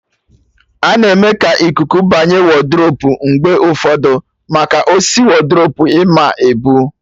A-na eme ka ikuku banye wodrubu mgbe ụfọdụ, maka osisi wodrubu ịma ebu